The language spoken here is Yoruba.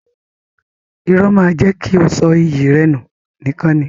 Irọ́ máa jẹ́ kí o sọ iyì rẹ nù nìkan ni.